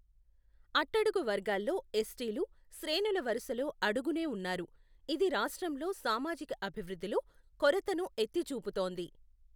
అట్టడుగు వర్గాల్లో ఎస్టీలు శ్రేణులవరుసలో అడుగునే ఉన్నారు, ఇది రాష్ట్రంలో సామాజిక అభివృద్ధిలో కొరతను ఎత్తి చూబుతోంది.